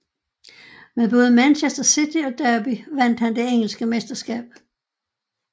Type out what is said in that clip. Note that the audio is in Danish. Med både Manchester City og Derby vandt han det engelske mesterskab